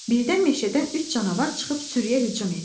Birdən meşədən üç canavar çıxıb sürüyə hücum etdi.